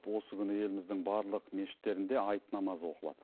осы күні еліміздің барлық мешіттерінде айт намазы оқылады